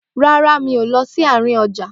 Rárá, mi ò lọ sí àárín ọjà